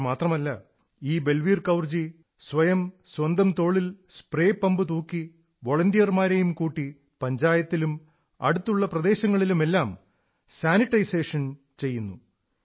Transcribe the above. ഇത്രമാത്രമല്ല ഈ ബൽവീർ കൌർജീ സ്വയം സ്വന്തം തോളിൽ സ്പ്രേ പമ്പ് തൂക്കി വോളണ്ടിയർമാരെയും കൂട്ടി പഞ്ചായത്തിലും അടുത്തുള്ള പ്രദേശങ്ങളിലുമെല്ലാം സാനിട്ടൈസേഷൻ വേല ചെയ്യുന്നു